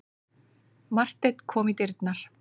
Marteinn kom í dyrnar.